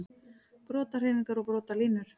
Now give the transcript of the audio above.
Brotahreyfingar og brotalínur